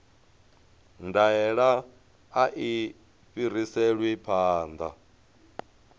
ndaela a i fhiriselwi phanḓa